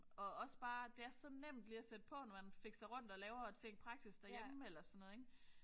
Og også bare det er så nemt lige at sætte på når man fikser rundt og laver ting praktisk derhjemme eller sådan noget ik